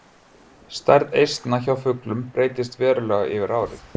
Stærð eistna hjá fuglum breytist verulega yfir árið.